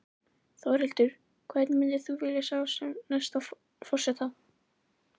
Þórhildur: Hvern myndir þú vilja sjá sem næsta forseta?